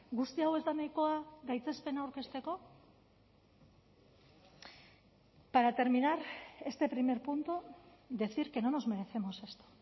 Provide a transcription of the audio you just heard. guzti hau ez da nahikoa gaitzespena aurkezteko para terminar este primer punto decir que no nos merecemos esto